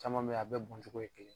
Caman bɛ yen a bɛɛ bɔncogo ye kelen ye